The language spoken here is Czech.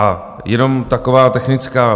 A jenom taková technická.